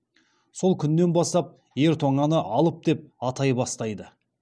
сол күннен бастап ер тоңаны алып деп атай бастайды